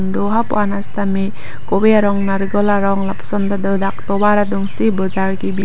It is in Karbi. do hapu an sitame kove arong narical arong lapuson tado dak tovar adung si bojar kibi.